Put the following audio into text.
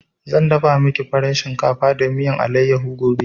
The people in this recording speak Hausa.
Zan dafa maki farin shinkafa da miyan allayaho gobe